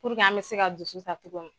Puruke an bɛ se ka dusuta cogo min.